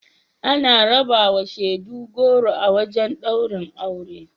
Ana rabawa shaidu goro a wajen ɗaurin aure.